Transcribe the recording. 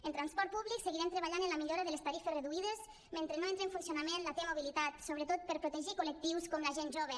en transport públic seguirem treballant en la millora de les tarifes reduïdes mentre no entre en funcionament la t mobilitat sobretot per protegir col·lectius com la gent jove